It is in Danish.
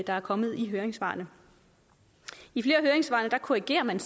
der er kommet i høringssvarene i flere af høringssvarene korrigerer man